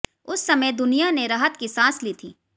उस समय दुनिया ने राहत की सांस ली थी